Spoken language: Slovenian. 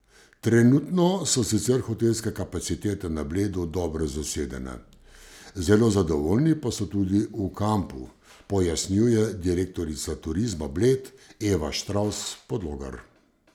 Trenutno so sicer hotelske kapacitete na Bledu dobro zasedene, zelo zadovoljni pa so tudi v kampu, pojasnjuje direktorica Turizma Bled Eva Štravs Podlogar.